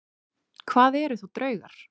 Hvað eru þá draugar?